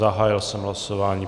Zahájil jsem hlasování.